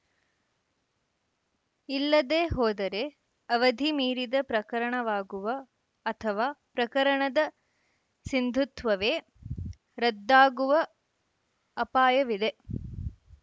ಇಲ್ಲದೇ ಹೋದರೆ ಅವಧಿ ಮೀರಿದ ಪ್ರಕರಣವಾಗುವ ಅಥವಾ ಪ್ರಕರಣದ ಸಿಂಧುತ್ವವೇ ರದ್ದಾಗುವ ಅಪಾಯವಿದೆ